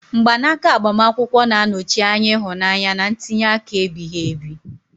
Mgbanaka agbamakwụkwọ na-anọchi anya ịhụnanya na ntinye aka ebighị ebi.